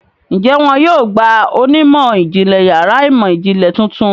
Ǹjẹ́ wọn yóò gba onímọ̀-ìjìnlẹ̀ yàrá ìmọ̀-ìjìnlẹ̀ tuntun?